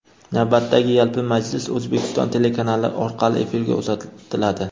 navbatdagi yalpi majlis O‘zbekiston telekanali orqali efirga uzatiladi.